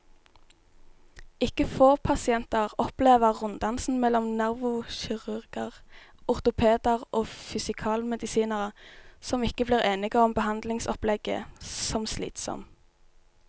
Ikke få pasienter opplever runddansen mellom nevrokirurger, ortopeder og fysikalmedisinere, som ikke blir enige om behandlingsopplegget, som slitsom.